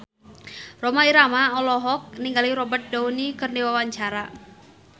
Rhoma Irama olohok ningali Robert Downey keur diwawancara